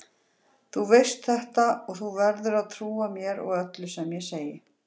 Þú veist þetta og þú verður að trúa mér og öllu sem ég segi.